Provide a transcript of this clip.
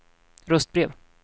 röstbrev